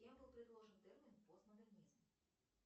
кем был предложен термин постмодернизм